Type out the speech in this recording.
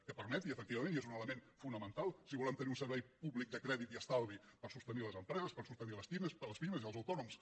que permeti efectivament i és un element fonamental si volem tenir un servei públic de crèdit i estalvi per sostenir les empreses per sostenir les pimes i els autònoms